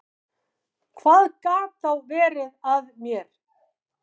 Hvað gat þá verið að mér?